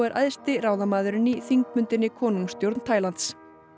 æðsti ráðamaðurinn í þingbundinni konungsstjórn Tælands